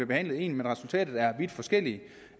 behandlet ens men resultatet er vidt forskelligt